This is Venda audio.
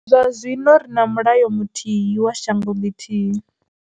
Zwa zwino ri na mulayo muthihi wa shango ḽithihi.